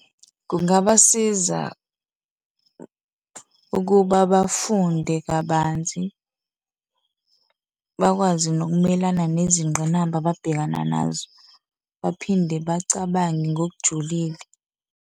Kungabasiza ukuba bafunde kabanzi, bakwazi nokumelana nezingqinamba ababhekana nazo, baphinde bacabange ngokujulile.